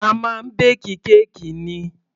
A máa ń bake kéèkì ni.